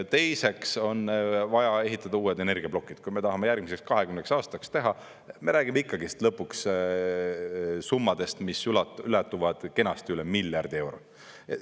Teiseks on vaja ehitada uued energiaplokid, kui me tahame järgmiseks 20 aastaks teha, me räägime ikkagist lõpuks summadest, mis ulatuvad kenasti üle miljardi euro.